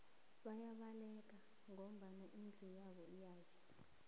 bayabaleka ngoba indlu yabo iyatjha